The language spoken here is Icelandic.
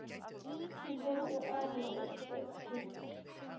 Hún horfir á hann og ypptir öxlum.